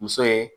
Muso ye